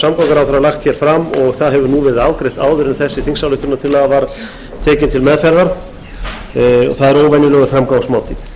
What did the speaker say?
samgönguráðherra lagt hér fram og það hefur nú verið afgreitt áður en þessi þingsályktunartillaga var tekin til meðferðar það er óvenjulegur framgangsmáti nefndin leggur til